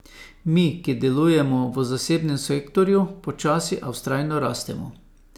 Mi, ki delujemo v zasebnem sektorju, počasi, a vztrajno rastemo.